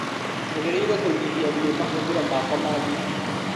Njagĩrĩirũo kũnyihia biũ mahũthĩro makwa ma thitima.